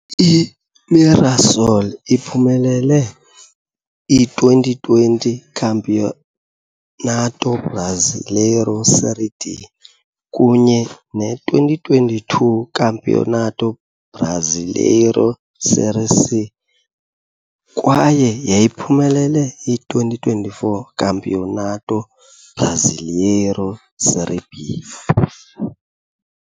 I-Mirassol iphumelele i-2020 Campeonato Brasileiro Série D kunye ne- 2022 Campeonato Brasileiro Série C, kwaye yayiphumelele i-2024 Campeonato Brasileiro Série B.